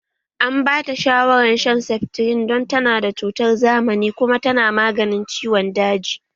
An bata shawaran shan seftrin don tana da cutar zamani kuma tana maganin ciwon daji